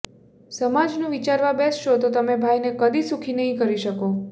સમાજનું વિચારવા બેસશો તો તમે ભાઈને કદી સુખી નહીં કરી શકો